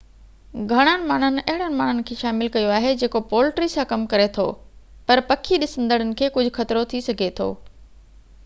گهڻن ماڻهن اهڙن ماڻهن کي شامل ڪيو آهي جيڪو پولٽري سان ڪم ڪري ٿو پر پکي ڏسندڙن کي ڪجهہ خطرو ٿي سگهي ٿو